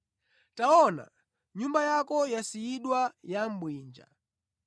Taona, nyumba yako yasiyidwa ya bwinja.